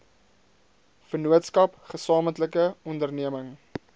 vennootskap gesamentlike onderneming